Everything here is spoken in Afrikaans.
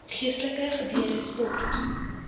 geestelike gebeure sport